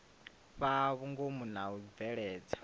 fhaa vhungomu na u bveledza